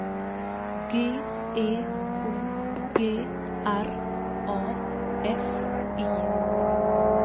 G E O G R A F I